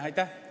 Aitäh!